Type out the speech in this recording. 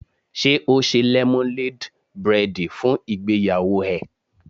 Ṣé ó ṣe lẹ́móléd bréèdì fún ìgbéyàwó ẹ̀?